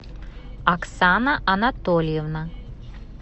оксана анатольевна